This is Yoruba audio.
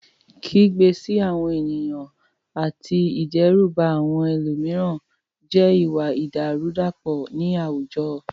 Kígbe sí àwọn ènìyàn àti ìdẹ́rùbà àwọn ẹlòmíràn jẹ́ ìwà ìdàrúdàpọ̀ ní àwùjọ.